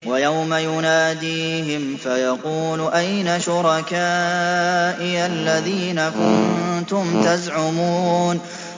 وَيَوْمَ يُنَادِيهِمْ فَيَقُولُ أَيْنَ شُرَكَائِيَ الَّذِينَ كُنتُمْ تَزْعُمُونَ